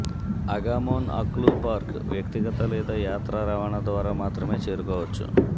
అగామోన్ అక్లూ పార్క్ వ్యక్తిగత లేదా యాత్రా రవాణా ద్వారా మాత్రమే చేరుకోవచ్చు